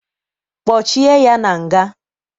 Kpochie ya na nga!